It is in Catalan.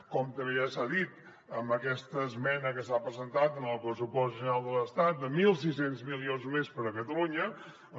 com també ja s’ha dit amb aquesta esmena que s’ha presentat en el pressupost general de l’estat de mil sis cents milions més per a catalunya doncs